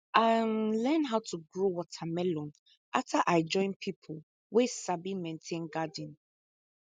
i um learn how to grow watermelon after i join people wey sabi maintain garden